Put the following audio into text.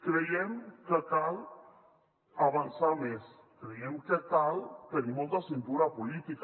creiem que cal avançar més creiem que cal tenir molta cintura política